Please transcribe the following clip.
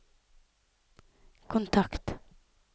kontakt